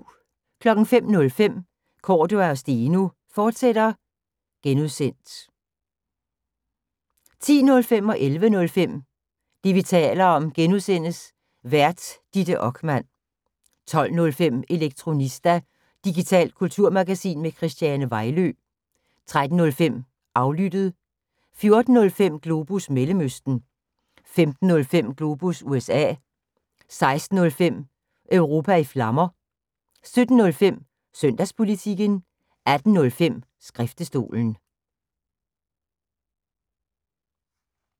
05:05: Cordua & Steno, fortsat (G) 10:05: Det, vi taler om (G) Vært: Ditte Okman 11:05: Det, vi taler om (G) Vært: Ditte Okman 12:05: Elektronista – digitalt kulturmagasin med Christiane Vejlø 13:05: Aflyttet 14:05: Globus Mellemøsten 15:05: Globus USA 16:05: Europa i Flammer 17:05: Søndagspolitikken 18:05: Skriftestolen